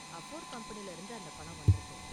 Afore கம்பெனியில இருந்து அந்த பணம் வந்திருக்கு.